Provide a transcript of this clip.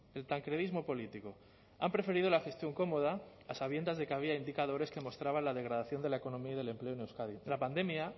el tancredismo político han preferido la gestión cómoda a sabiendas de que había indicadores que mostraban la degradación de la economía y del empleo en euskadi la pandemia